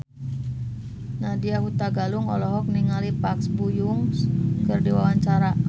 Nadya Hutagalung olohok ningali Park Bo Yung keur diwawancara